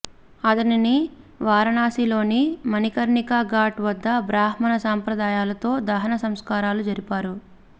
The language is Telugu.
అతనిని వారణాశిలోని మణికర్ణికా ఘాట్ వద్ద బ్రాహ్మణ సాంప్రదాయాలతో దహన సంస్కారాలు జరిపారు